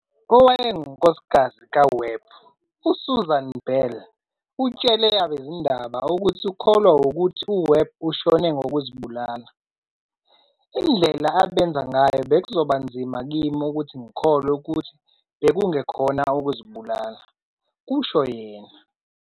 Owayengunkosikazi kaWebb uSusan Bell utshele abezindaba ukuthi ukholwa wukuthi uWebb ushone ngokuzibulala."Indlela abenza ngayo bekuzoba nzima kimi ukuthi ngikholwe ukuthi bekungekhona ukuzibulala," kusho yena.